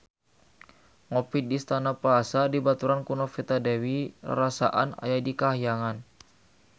Ngopi di Istana Plaza dibaturan ku Novita Dewi rarasaan aya di kahyangan